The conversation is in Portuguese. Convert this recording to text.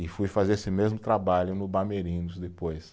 E fui fazer esse mesmo trabalho no Bamerindus depois.